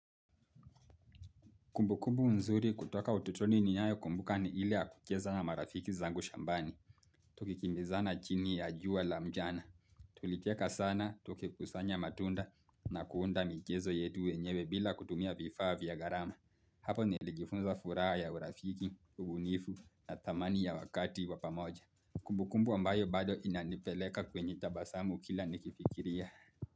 Kumbukumbu mzuri kutoka ututoni niyayo kumbuka ni ile ya kucheza na marafiki zangu shambani. Tukikimbizana chini ya jua la mjana. Tulicheka sana tukikusanya matunda na kuunda mchezo yetu wenyewe bila kutumia vifaa vya gharama. Hapo nilijifunza furaha ya urafiki, ugunifu na thamani ya wakati wa pamoja. Kumbukumbu ambayo bado inanipeleka kwenye tabasamu kila nikifikiria.